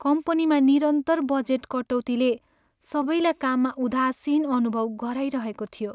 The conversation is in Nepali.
कम्पनीमा निरन्तर बजेट कटौतीले सबैलाई काममा उदासीन अनुभव गराइरहेको थियो।